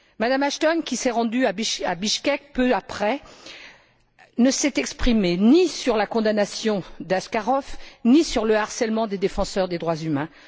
Mme Ashton, qui s'est rendue à Bichkek peu après, ne s'est exprimée ni sur la condamnation d'Askarov, ni sur le harcèlement des défenseurs des droits humains.